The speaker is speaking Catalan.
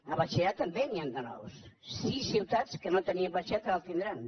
a batxillerat també n’hi han de nous sis ciutats que no tenien batxillerat ara en tindran